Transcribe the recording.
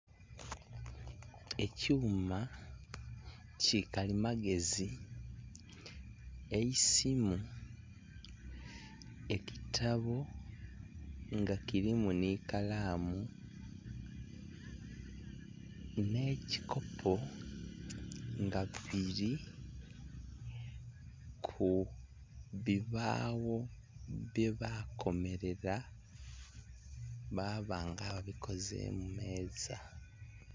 Ekyuma ki kalimagezi, eisimu, ekitabo nga kilimu nhi kalaamu nhe ekikopo nga bili ku bibagho bye bakomerela baba nga ababikizemu meeza.